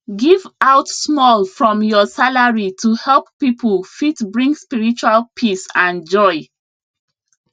give out small from your salary to help people fit bring spiritual peace and joy